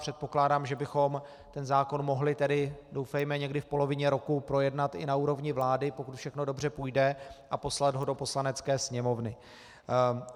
Předpokládám, že bychom ten zákon mohli tedy, doufejme, někdy v polovině roku projednat i na úrovni vlády, pokud všechno dobře půjde, a poslat ho do Poslanecké sněmovny.